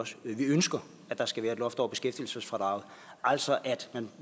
vi ønsker at der skal være et loft over beskæftigelsesfradraget altså